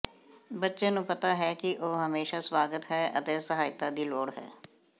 ਬੱਚੇ ਨੂੰ ਪਤਾ ਹੈ ਕਿ ਉਹ ਹਮੇਸ਼ਾ ਸਵਾਗਤ ਹੈ ਅਤੇ ਸਹਾਇਤਾ ਦੀ ਲੋੜ ਹੈ